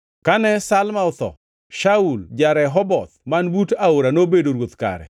Kane Samla otho, Shaul ja-Rehoboth man but aora nobedo ruoth kare.